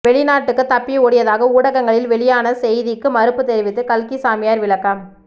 வெளிநாட்டுக்கு தப்பி ஓடியதாக ஊடகங்களில் வெளியான செய்திக்கு மறுப்பு தெரிவித்து கல்கி சாமியார் விளக்கம்